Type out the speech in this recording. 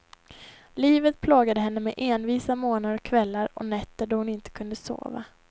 Livet plågade henne med envisa morgnar och kvällar och nätter då hon inte kunde sova.